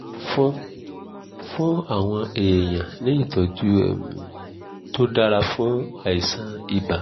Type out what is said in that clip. fún fún àwọn èèyàn ní ìtọ́jú um tó dáa fún àìsàn ibà